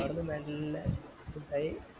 ആടന്ന് മെല്ലെ scoot ആയി